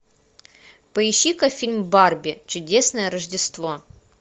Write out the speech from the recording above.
поищи ка фильм барби чудесное рождество